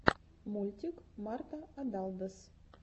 мультик марта адалдос